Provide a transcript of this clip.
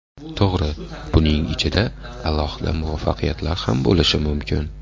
To‘g‘ri, buning ichida alohida muvaffaqiyatlar ham bo‘lishi mumkin.